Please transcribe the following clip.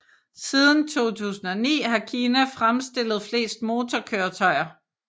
Siden 2009 har Kina fremstillet flest motorkøretøjer